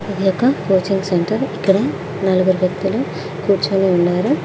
ఇది ఒక coaching centre ఇక్కడ నలుగురు వ్యక్తులు కూర్చొని ఉన్నారు.